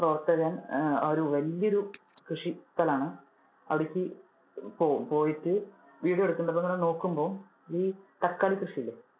പ്രവർത്തകൻ, ആഹ് അത് വലിയൊരു കൃഷി സ്ഥലം ആണ്. അവിടേക്ക് പോകും പോയിട്ട് video എടുക്കുന്നുണ്ട്. അപ്പൊ ഇത് ഇങ്ങനെ നോക്കുമ്പോൾ ഈ തക്കാളി കൃഷി ഇല്ലേ,